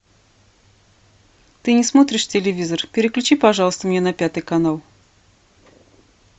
ты не смотришь телевизор переключи пожалуйста мне на пятый канал